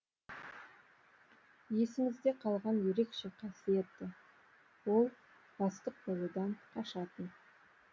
есіңізде қалған ерекше қасиеті ол бастық болудан қашатын